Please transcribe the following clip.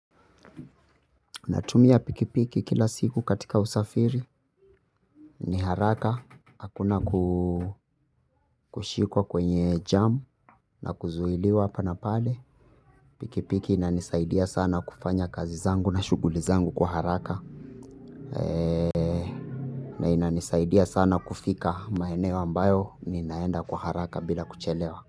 Natumia pikipiki kila siku katika usafiri. Ni haraka. Hakuna kushikwa kwenye jamu na kuzuhiliwa hapa na pale. Pikipiki inanisaidia sana kufanya kazi zangu na shughuli zangu kwa haraka. Na inanisaidia sana kufika maeneo ambayo ninaenda kwa haraka bila kuchelewa.